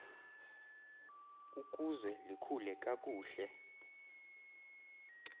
ukuze likhule kakuhle